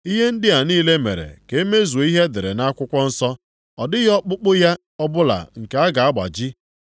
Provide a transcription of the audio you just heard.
Ihe ndị a niile mere ka e mezuo ihe e dere nʼakwụkwọ nsọ, “Ọ dịghị ọkpụkpụ ya ọbụla nke a ga-agbaji.” + 19:36 \+xt Ọpụ 12:46; Ọnụ 9:12; Abụ 34:20\+xt*